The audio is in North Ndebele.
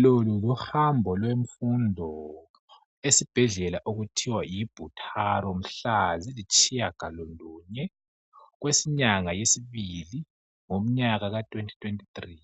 Lo luhambo lwemfundo esibhedlela okuthiwa yiButaro mhla zilitshiyagalolunye kwenyanga yesibili ngomnyaka kathwenti-thwenti three.